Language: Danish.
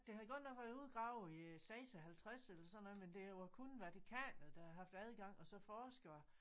Det havde godt været udgravet i 56 eller sådan noget men det var kun Vatikanet der havde haft adgang og så forskere